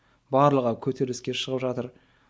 барлығы көтеріліске шығып жатыр